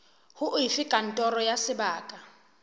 ho efe kantoro ya sebaka